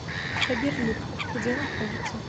фаберлик где находится